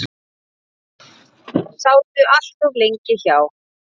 Sátu allt of lengi hjá.